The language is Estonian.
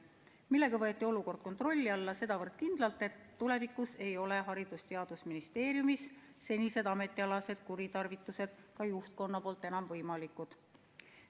Sellega võeti olukord kontrolli alla sedavõrd kindlalt, et tulevikus ei ole Haridus- ja Teadusministeeriumis senised ametialased kuritarvitused enam võimalikud.